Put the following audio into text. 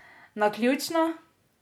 Naključno?